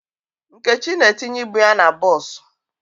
Nkechi na-etinye ibu ya na bọọsụ.